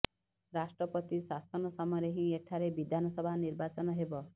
ରାଷ୍ଟ୍ରପତି ଶାସନ ସମୟରେ ହିଁ ଏଠାରେ ବିଧାନସଭା ନିର୍ବାଚନ ହେବ